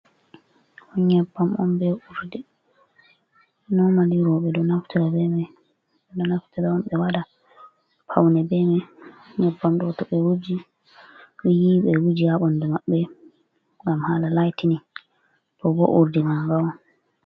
Nyebam on be urdi nomali roɓe ɗo naftira on ɓe waɗa paune beman, nyebbam ɗo to ɓe yiwi ɓe wuji habandu maɓɓe gam hala laitinin to' bo urdi ma'ga on.